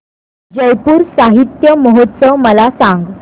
जयपुर साहित्य महोत्सव मला सांग